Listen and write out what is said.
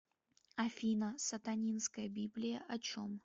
афина сатанинская библия о чем